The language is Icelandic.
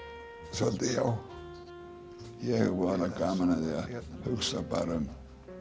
svolítið já ég hef voðalega gaman að hugsa bara um